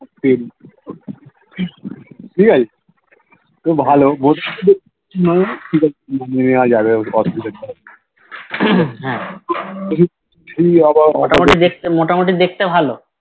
ঠিকাছে তো ভালো বোন যাবে